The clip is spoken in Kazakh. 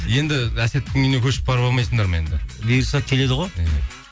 енді әсеттің үйіне көшіп барып алмайсыңдар ма енді бұйырса келеді ғой іхі